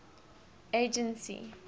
agency